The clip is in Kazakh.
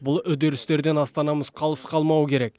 бұл үдерістерден астанамыз қалыс қалмауы керек